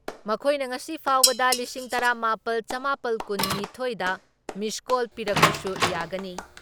ꯃꯈꯣꯏꯅ ꯉꯁꯤ ꯐꯥꯎꯕꯗ ꯂꯤꯁꯤꯡ ꯇꯔꯥ ꯃꯥꯄꯜ ꯆꯃꯥꯄꯜ ꯀꯨꯟ ꯅꯤꯊꯣꯏ ꯗ ꯃꯤꯁ ꯀꯣꯜ ꯄꯤꯔꯛꯄꯁꯨ ꯌꯥꯒꯅꯤ ꯫